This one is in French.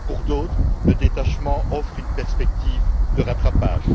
pour d'autres, le détachement offre une perspective de rattrapage.